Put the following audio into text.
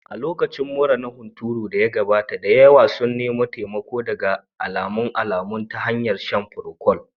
A lokacin mura na hunturun da ya gabata, da yawa sun nemi taimako daga alamun alamun ta hanyar shan procold